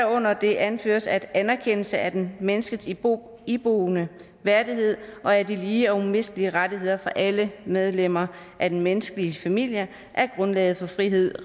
hvorunder det anføres at anerkendelse af den mennesket iboende iboende værdighed og af de lige og umistelige rettigheder for alle medlemmer af den menneskelige familie er grundlaget for frihed